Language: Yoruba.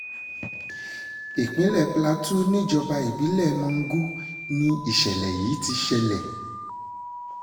ìpínlẹ̀ plateau níjọba ìbílẹ̀ mangu ni ìṣẹ̀lẹ̀ yìí ti ṣẹlẹ̀